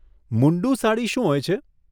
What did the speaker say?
મુન્ડું સાડી શું હોય છે?